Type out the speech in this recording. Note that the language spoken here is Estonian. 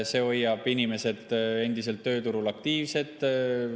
See hoiab inimesed endiselt tööturul aktiivsed.